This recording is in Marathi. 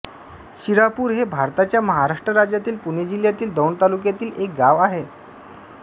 शिरापूर हे भारताच्या महाराष्ट्र राज्यातील पुणे जिल्ह्यातील दौंड तालुक्यातील एक गाव आहे